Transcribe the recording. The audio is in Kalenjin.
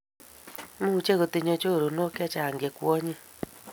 Much kotinye chorondok chechange che kwanyik